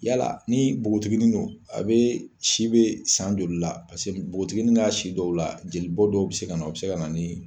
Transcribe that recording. Yala ni npogotiginin don, a be si be san joli la? Paseke npogotiginin n'a si dɔw la jeli bɔ dɔw be se ka na o be se ka na ni